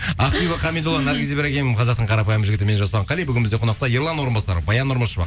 ақбибі хамидолла наргиз ибрагим қазақтың қарапайым жігіті мен жасұлан қали бүгін бізде қонақта ерлан орынбасаров баян нұрмышева